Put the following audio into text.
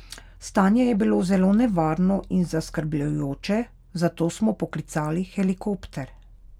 Stanje je bilo zelo nevarno in zaskrbljujoče, zato smo poklicali helikopter.